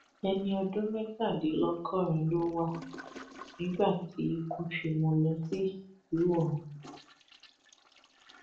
ẹni ọdún mẹtàdínlọgọrin ló wà tí ikú fi mú un lọ sí ìsálú ọrun